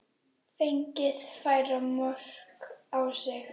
Fengið færri mörk á sig?